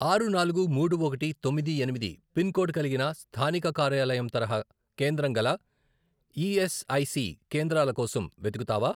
ఆరు, నాలుగు, మూడు, ఒకటి, తొమ్మిది, ఎనిమిది, పిన్ కోడ్ కలిగిన స్థానిక కార్యాలయం తరహా కేంద్రం గల ఈఎస్ఐసి కేంద్రాల కోసం వెతుకుతావా?